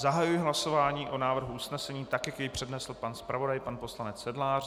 Zahajuji hlasování o návrhu usnesení tak, jak jej přednesl pan zpravodaj, pan poslanec Sedlář.